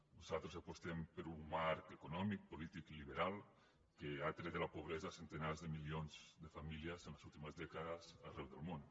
nosaltres apostem per un marc econòmic polític liberal que ha tret de la pobresa centenars de milions de famílies en les últimes dècades arreu del món